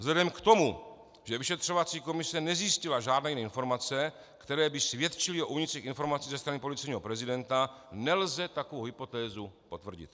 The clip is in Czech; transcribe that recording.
Vzhledem k tomu, že vyšetřovací komise nezjistila žádné jiné informace, které by svědčily o únicích informací ze strany policejního prezidenta, nelze takovou hypotézu potvrdit.